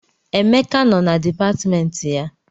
Emeka nọ na dipatịmentị ya.